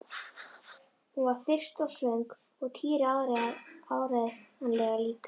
Hún var þyrst og svöng og Týri áreiðanlega líka.